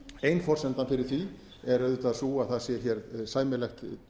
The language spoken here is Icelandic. ein forsendan fyrir því er auðvitað sú að það sé hér sæmilegt